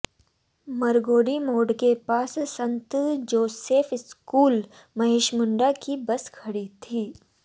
मरगोडीह मोड़ के पास संत जोसेफ स्कूल महेशमुंडा की बस खड़ी थी